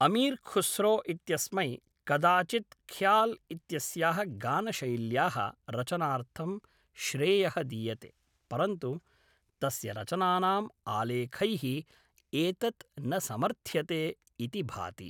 अमीर् ख़ुस्रो इत्यस्मै कदाचित् ख़्याल् इत्यस्याः गानशैल्याः रचनार्थं श्रेयः दीयते, परन्तु तस्य रचनानां आलेखैः एतत् न समर्थ्यते इति भाति।